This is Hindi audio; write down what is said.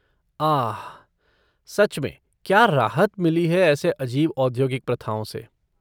आह! सच मैं क्या राहत मिली है ऐसी अजीब औद्योगिक प्रथाओं से।